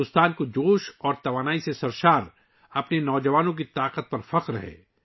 بھارت کو ، جوش اور توانائی سے بھرپور اپنی نوجوان قوت پر فخر ہے